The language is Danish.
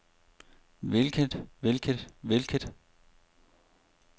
hvilket hvilket hvilket